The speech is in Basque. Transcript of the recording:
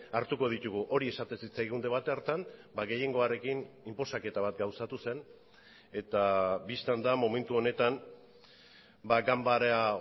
hartuko ditugu hori esaten zitzaigun debate hartan gehiengoarekin inposaketa bat gauzatu zen eta bistan da momentu honetan ganbara